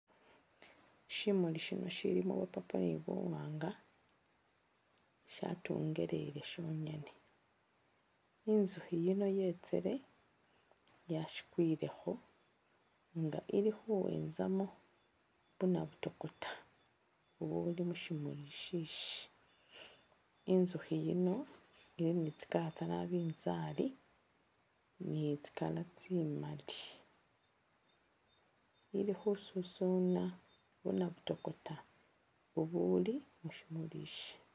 Shimuuli shino shilimo bya purple ne buwanga, inzukhi yino yetsele yashikwilekho nga ili khuwenzamo bunabutokota ubuuli mushimuli ishishi, inzukhi yino ili ni tsi'color tse nabinzari ne ts'icolor tsimaali, ili khususuna bunabutokota ubuuli mushimuli ishi.